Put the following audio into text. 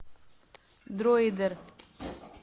дроидер